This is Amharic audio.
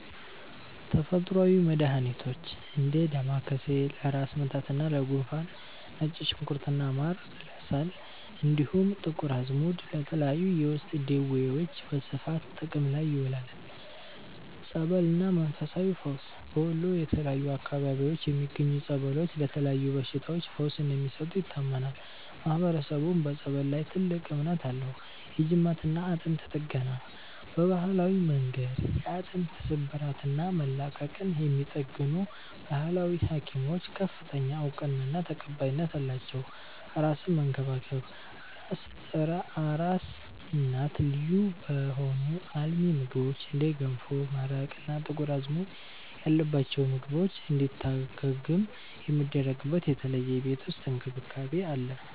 ተፈጥሮአዊ መድሃኒቶች፦ እንደ ዳማከሴ (ለራስ ምታትና ለጉንፋን)፣ ነጭ ሽንኩርትና ማር (ለሳል)፣ እንዲሁም ጥቁር አዝሙድ ለተለያዩ የውስጥ ደዌዎች በስፋት ጥቅም ላይ ይውላሉ። ጸበልና መንፈሳዊ ፈውስ፦ በወሎ የተለያዩ አካባቢዎች የሚገኙ ጸበሎች ለተለያዩ በሽታዎች ፈውስ እንደሚሰጡ ይታመናል፤ ማህበረሰቡም በጸበል ላይ ትልቅ እምነት አለው። የጅማትና አጥንት ጥገና፦ በባህላዊ መንገድ የአጥንት ስብራትና መላቀቅን የሚጠግኑ "ባህላዊ ሀኪሞች" ከፍተኛ እውቅናና ተቀባይነት አላቸው። አራስን መንከባከብ፦ አራስ እናት ልዩ በሆኑ አልሚ ምግቦች (እንደ ገንፎ፣ መረቅ እና ጥቁር አዝሙድ ያለባቸው ምግቦች) እንድታገግም የሚደረግበት የተለየ የቤት ውስጥ እንክብካቤ አለ።